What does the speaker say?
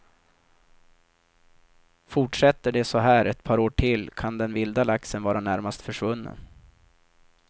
Fortsätter det så här ett par år till kan den vilda laxen vara närmast försvunnen.